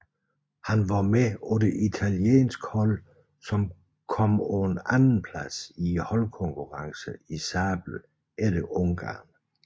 Han var med på det italienske hold som kom på en andenplads i holdkonkurrencen i sabel efter Ungarn